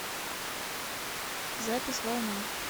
запись волна